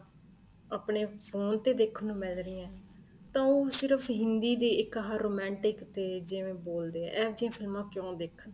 ਆਪਣੇ ਫੋਨ ਤੇ ਦੇਖਣ ਨੂੰ ਮਿਲ ਰਹੀਆਂ ਹੈ ਤਾਂ ਉਹ ਸਿਰਫ਼ ਹਿੰਦੀ ਦੇ ਇੱਕ ਆ romantic ਤੇ ਜਿਵੇਂ ਬੋਲਦੇ ਏ ਇਹ ਜੀਆ ਫਿਲਮਾਂ ਕਿਉਂ ਦੇਖਣ